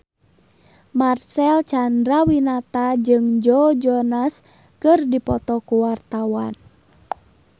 Marcel Chandrawinata jeung Joe Jonas keur dipoto ku wartawan